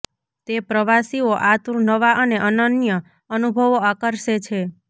તે પ્રવાસીઓ આતુર નવા અને અનન્ય અનુભવો આકર્ષે છે